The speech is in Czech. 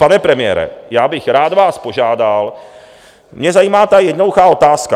Pane premiére, já bych vás rád požádal, mě zajímá ta jednoduchá otázka.